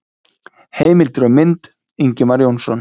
Heimildir og mynd: Ingimar Jónsson.